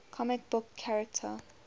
comic book character